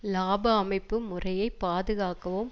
இலாப அமைப்பு முறையை பாதுகாக்கவும்